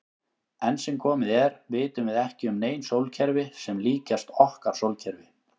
Enn sem komið er vitum við ekki um nein sólkerfi sem líkjast okkar sólkerfi.